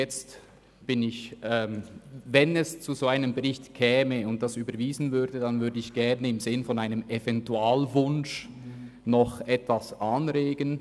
Wenn es zu einem Bericht käme und dieser überwiesen würde, möchte ich im Sinn eines Eventualwunsches noch etwas anregen: